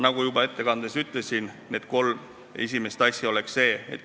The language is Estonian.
Nagu ma juba ettekandes ütlesin, need kolm asja oleksid sellised.